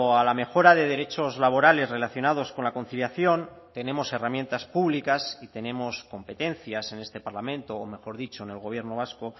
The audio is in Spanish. a la mejora de derechos laborales relacionados con la conciliación tenemos herramientas públicas y tenemos competencias en este parlamento o mejor dicho en el gobierno vasco